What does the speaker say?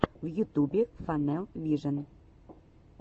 в ютубе фанэл вижен